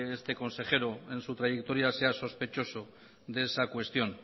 este consejero en su trayectoria sea sospechoso de esa cuestión